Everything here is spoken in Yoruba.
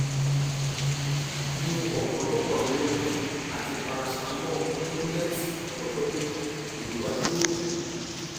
mu ọ̀pọ̀lọpọ̀ àwọn omi àti paracetamol tabulẹti fún ọjọ́ méjì ìrora yóò dínkù